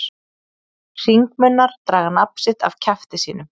Hringmunnar draga nafn sitt af kjafti sínum.